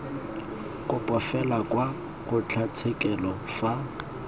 kopo fela kwa kgotlatshekelo fa